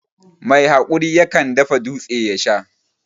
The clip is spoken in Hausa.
Mai hakuri yakan dafa dūtse ya Sha.